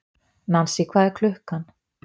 Nansý, hvað er klukkan?